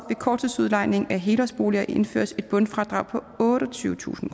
korttidsudlejning af helårsboliger indføres et bundfradrag på otteogtyvetusind